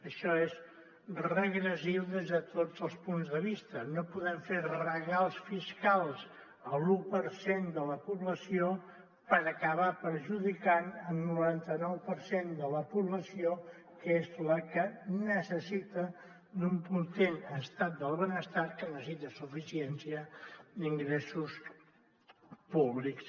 això és regressiu des de tots els punts de vista no podem fer regals fiscals a l’u per cent de la població per acabar perjudicant el noranta nou per cent de la població que és la que necessita un potent estat del benestar que necessita suficiència d’ingressos públics